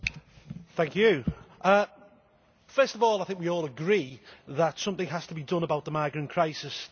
Madam President, first of all, I think we all agree that something has to be done about the migrant crisis.